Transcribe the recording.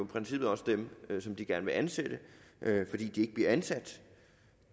princippet også dem som de gerne vil ansætte fordi de ikke bliver ansat